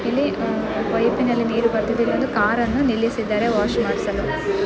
ಇಲ್ಲಿ ಪೈಪ್ನಲ್ಲಿ ನೀರು ಬರುತ್ತಿದೆ ಇಲ್ಲಿ ಒಂದು ಕಾರ್ ಅನ್ನು ನಿಲ್ಲಿಸಿದ್ದಾರೆ ವಾಷ್ ಮಾಡಿಸಲು.